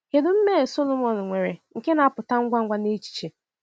Kedu mmehie Sọlọmọn nwere nke na-apụta ngwa ngwa n’echiche?